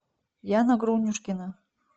яна грунюшкина